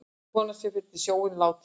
Konan sem féll í sjóinn látin